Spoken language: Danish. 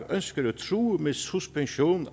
ønsker at true med suspension